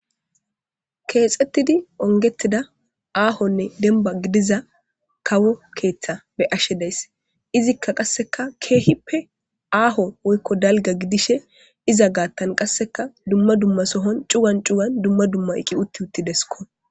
Kexetidi unigida ahonne daliga kawo ketha beyashe dayisi izka qasse kehippe ahonne daligga gidishini iza gathani duma duma sohoni cugani duma duma iqi utidesiko